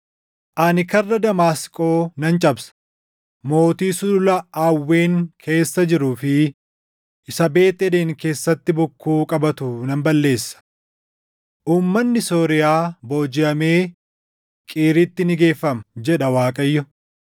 Ani karra Damaasqoo nan cabsa; mootii Sulula Aawwen keessa jiruu fi isa Beet Eden keessatti bokkuu qabatu nan balleessa. Uummanni Sooriyaa boojiʼamee Qiiritti ni geeffama” jedha Waaqayyo.